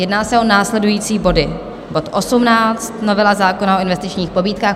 Jedná se o následující body: bod 18, novela zákona o investičních pobídkách.